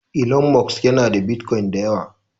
Elon Musk yana da Bitcoin da yawa.